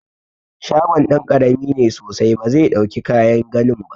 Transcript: Shagon ɗan ƙarami ne sosai ba zai ɗauki kayan ginin ba.